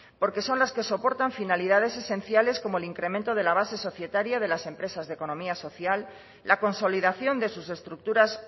porque son las que soportan finalidades esenciales como el incremento de la base societaria de las empresas de economía social la consolidación de sus estructuras